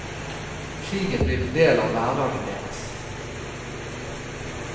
Krigen blir en del av hverdagen deres.